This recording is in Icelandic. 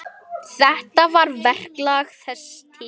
Þetta var verklag þess tíma.